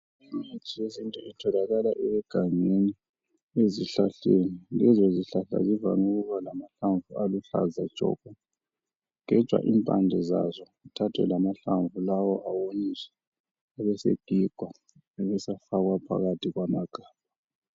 Imithi yesintu itholakala egangeni ezihlahleni. Lezozihlahla zivame ukuba lamahlamvu aluhlaza tshoko. Kugejwa impande zazo zithathwe lamahlamvu lawo awonyiswe abesegigwa abesefakwa phakathi kwamagabha.